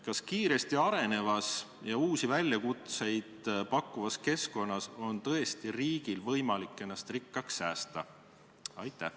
Kas kiiresti arenevas ja uusi väljakutseid pakkuvas keskkonnas on tõesti riigil võimalik ennast rikkaks säästa?